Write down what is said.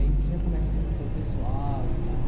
Aí você já começa a conhecer o pessoal e tal.